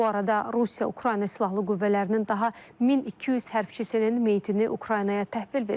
Bu arada Rusiya Ukrayna Silahlı Qüvvələrinin daha 1200 hərbçisinin meyitini Ukraynaya təhvil verib.